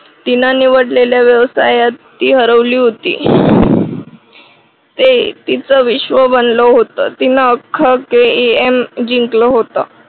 तिनं निवडलेल्या व्यवसायात ती हरवली होती. ते तीच विश्व बनल होत. तिने अख्ख KEM जिंकलं होतं